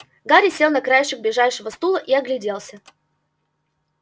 гарри сел на краешек ближайшего стула и огляделся